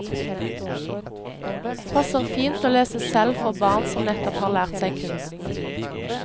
Passer fint å lese selv for barn som nettopp har lært seg kunsten.